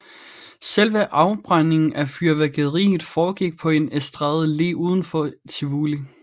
Selve afbrændingen af fyrværkeriet foregik på en estrade lige uden for Tivoli